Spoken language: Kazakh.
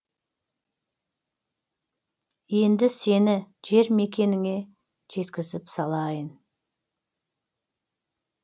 енді сені жер мекеніңе жекізіп салайын